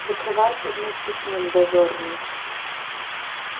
закрывайся вместе с ним дозорный